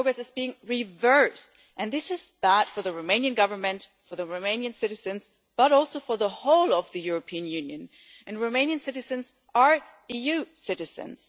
The progress is being reversed, and this is bad for the Romanian Government, for the Romanian citizens, but also for the whole of the European Union and Romanian citizens are EU citizens.